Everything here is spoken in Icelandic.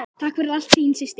Takk fyrir allt, þín systir.